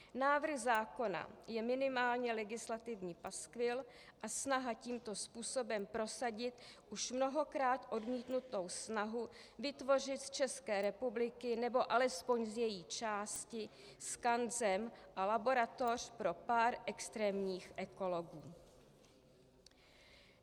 Návrh zákona je minimálně legislativní paskvil a snaha tímto způsobem prosadit už mnohokrát odmítnutou snahu vytvořit z České republiky, nebo alespoň z její části skanzen a laboratoř pro pár extrémních ekologů.